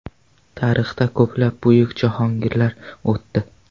Tarixda ko‘plab buyuk jahongirlar o‘tdi.